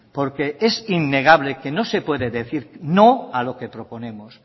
porque es innegable que no se puede decir no a lo que proponemos